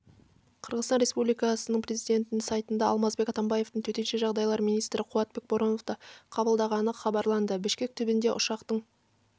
қырғыстан республикасы президентінің сайтында алмазбек атамбаевтың төтенше жағдайлар министрі қуатбек бороновты қабылдағаны хабарланды бішкек түбінде ұшақтың